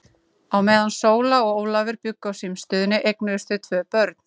Á meðan Sóla og Ólafur bjuggu á símstöðinni eignuðust þau tvö börn.